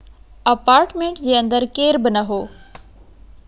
apartment جي اندر ڪير بہ نہ هو